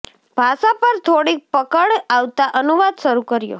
ભાષા પર થોડીક પકડ આવતા અનુવાદ શરૂ કર્યો